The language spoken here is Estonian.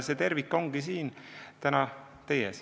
See tervik ongi täna siin teie ees.